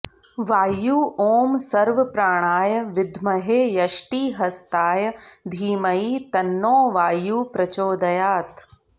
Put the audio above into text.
वायु ॐ सर्वप्राणाय विद्महे यष्टिहस्ताय धीमहि तन्नो वायुः प्रचोदयात्